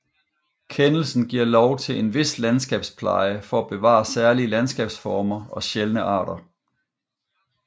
Kendelsen giver lov til en vis landskabspleje for at bevare særlige landskabsformer og sjældne arter